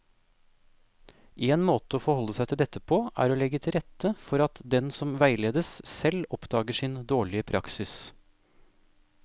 En måte å forholde seg til dette på er å legge til rette for at den som veiledes, selv oppdager sin dårlige praksis.